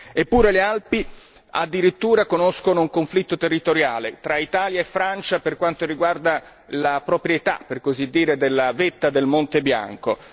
Eppure, le Alpi addirittura conoscono un conflitto territoriale tra Italia e Francia per quanto riguarda la proprietà, per così dire, della vetta del Monte Bianco.